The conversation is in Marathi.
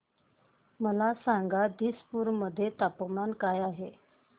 मला सांगा आज दिसपूर मध्ये तापमान काय आहे